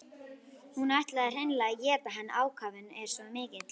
Hún ætlar hreinlega að éta hann, ákafinn er svo mikill.